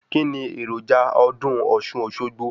Kíni èròjà ọdún ọ̀ṣun - òṣogbo?